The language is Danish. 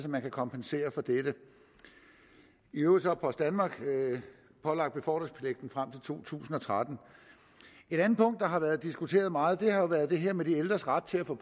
man kan kompensere for dette i øvrigt er post danmark pålagt befordringspligten frem til to tusind og tretten et andet punkt der har været diskuteret meget har været det her med de ældres ret til at få